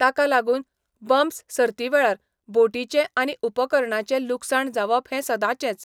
ताका लागून, बम्प्स सर्ती वेळार बोटींचें आनी उपकरणांचें लुकसाण जावप हें सदांचेंच.